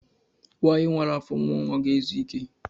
Nwanyi wara afọ mụọ nwa ga-ezu ike.